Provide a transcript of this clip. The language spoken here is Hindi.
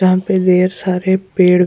यहाँ पे देर सारे पेड़ --